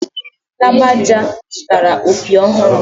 Lagbaja zụtara opi ọhụrụ.